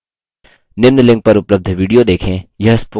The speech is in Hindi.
निम्न link पर उपलब्ध video देखें